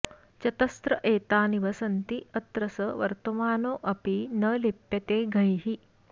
चतस्र एता निवसन्ति यत्र स वर्तमानोऽपि न लिप्यतेऽघैः